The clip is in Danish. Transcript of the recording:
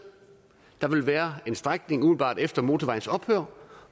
der ville være en strækning umiddelbart efter motorvejens ophør